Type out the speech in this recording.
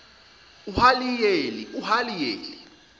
uhaliyeli